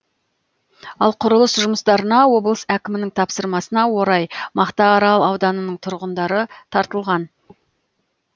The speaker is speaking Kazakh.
ал құрылыс жұмыстарына облыс әкімінің тапсырмасына орай мақтаарал ауданының тұрғындары тартылған